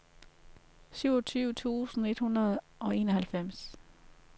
syvogtyve tusind et hundrede og enoghalvfems